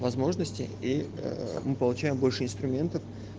возможности и мы получаем больше инструментов